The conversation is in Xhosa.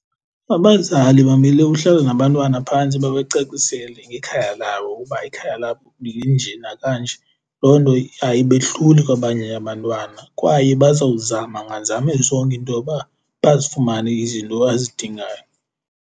Abazali bamele uhlala nabantwana phantsi babacacisele ngekhaya labo uba ikhaya labo linje nakanje. Loo nto ayibehluli kwabanye abantwana kwaye bazawuzama nganzame zonke intoba bazifumane izinto azidingayo.